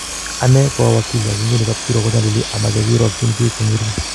Ane ko awakili ak nguni kapkiruok kunyalili ama che irwakchin bik ko ng'ering'